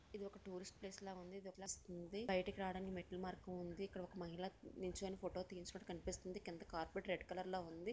ఇది ఒక టూరిస్ట్ ప్లేస్లా ఉంది బయటకు రావడానికి మెట్లు మార్గం ఉంది ఇక్కడ ఒక మహిళ నుంచుని ఫోటో తీయించుకున్నట్టు కనిపిస్తుంది కింద కార్పెట్ రెడ్ కలర్ లో ఉంది.